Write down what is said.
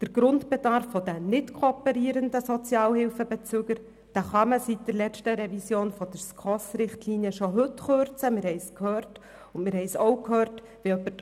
Der Grundbedarf der nicht-kooperierenden Sozialhilfebezüger lässt sich seit der letzten Revision der SKOSRichtlinien schon heute kürzen, wie wir bereits gehört haben.